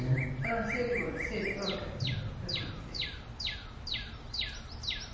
ആ ശെരി മോനെ ശെരി Okay ആ ശെരി